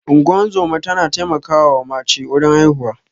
Ingozuma ta na taimakawa wa mace wurin haihuwa.